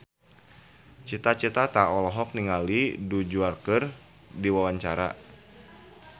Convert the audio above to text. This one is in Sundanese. Cita Citata olohok ningali Du Juan keur diwawancara